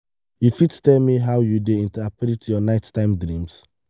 you fit tell me how you dey interpret your nighttime dreams?